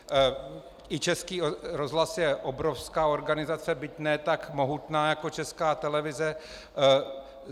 I Český rozhlas je obrovská organizace, byť ne tak mohutná, jako Česká televize.